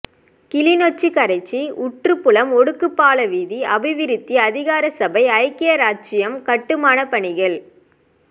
கிளிநொச்சி கரைச்சி ஊற்றுப்புலம் ஒடுக்குப் பாலம் வீதி அபிவிருத்தி அதிகார சபை ஐக்கிய இராச்சியம் கட்டுமானப் பணிகள்